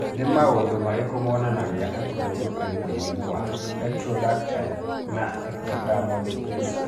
Nĩ maũndũ marĩkũ monanagia atĩ mũndũ arĩ na mũrimũ wa Ectrodactyly na ectodermal dysplasia?